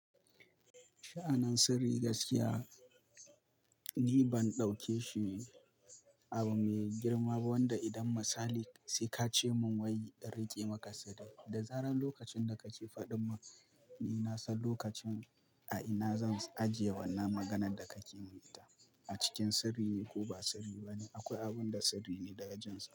Sha'anin sirri gaskiya ni ban ɗauke shi abu mai girma ba wanda idan misali sai ka ce mun wai in riƙe maka sirri, da zarar lokacin da kake faɗin mun, ni na san lokacin a ina zan ajiye wannan maganan da kake mun yi ta. A cikin sirri ne ko ba sirri bane akwai abun da sirri ne daga jin sa.